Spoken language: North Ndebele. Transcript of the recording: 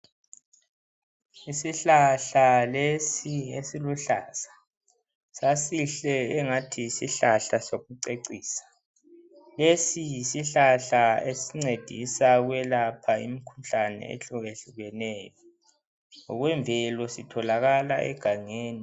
Isihlahla lesi esiluhlaza sasihle engathi yisihlahla sokucecisa. Lesi yisihlahla esincedisa ukwelapha imikhuhlane eyehlukehlukeneyo ngokwemvelo sitholakala egangeni.